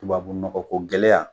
Tubabu nɔgɔ ko gɛlɛya